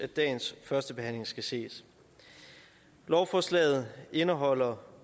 dagens førstebehandling skal ses lovforslaget indeholder